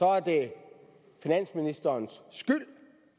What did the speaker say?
er det finansministerens skyld